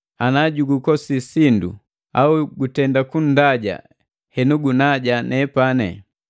Ana jugukosi sindu, au gutenda kunndaja henu gunaja nepani.